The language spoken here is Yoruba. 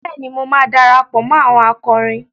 Bẹ́ẹ̀ni, mo máa darapọ̀ mó àwọn akọrin.